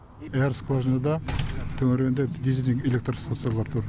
бәрі скважинада төңірегінде дизеленген электр станциялары тұр